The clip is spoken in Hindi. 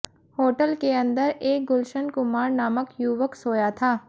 होटल के अंदर एक गुलशन कुमार नामक युवक सोया था